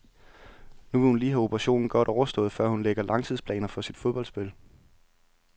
Nu vil hun lige have operationen godt overstået, før hun lægger langtidsplaner for sit fodboldspil.